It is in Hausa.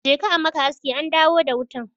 Je ka a maka aski an dawo da wutan.